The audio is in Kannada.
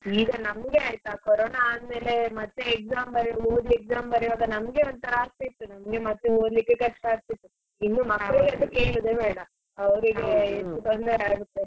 ಈಗ ನಮ್ಗೆ ಆಯ್ತಾ ಕೊರೊನಾ ಆದ್ ಮೇಲೆ ಮತ್ತೆ exam ಬರಿಯೋದು ಓದಿ exam ಬರಿವಾಗ ನಮ್ಗೆ ಒಂಥರ ಆಗ್ತಾ ಇತ್ತು ನಮಗೆ ಮತ್ತೆ ಓದ್ಲಿಕ್ಕೆ ಕಷ್ಟ ಆಗ್ತಾ ಇತ್ತು ಇನ್ನು ಮಕ್ಕಳಿಗಂತು ಕೇಳೋದೇ ಬೇಡ ಅವ್ರಿಗೆ ತೊಂದರೆಯಾಗುತ್ತೆ.